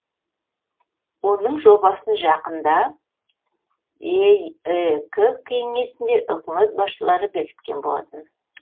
оның жобасын жақында еэк кеңесінде үкімет басшылары бекіткен болатын